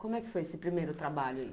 Como é que foi esse primeiro trabalho aí?